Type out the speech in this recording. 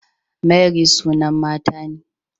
Mary sunan mata ne